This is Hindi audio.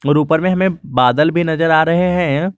ऊपर में हमें बादल भी नजर आ रहे हैं।